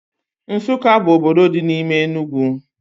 Nsukka bụ obodo dị n'ime Enugwu